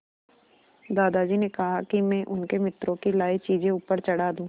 दादाजी ने कहा कि मैं उनके मित्रों की लाई चीज़ें ऊपर चढ़ा दूँ